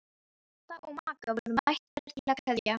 Kata og Magga voru mættar til að kveðja.